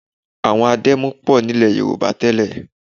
Àwọn adẹ́mu pọ̀ nílẹ̀ Yorùbá tẹ́lẹ̀